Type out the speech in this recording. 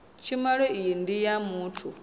tshumelo iyi ndi ya muthu